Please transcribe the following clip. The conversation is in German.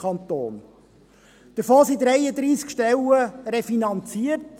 Davon sind 33 Stellen refinanziert.